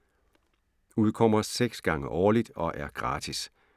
Udkommer 6 gange årligt og er gratis.